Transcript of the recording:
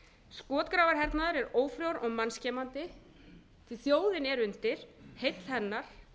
skotgrafarhernaður er ófrjór og mannskemmandi sem þjóðin er undir heill hennar